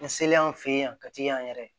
N selen an fe yen a ka teli an yɛrɛ ye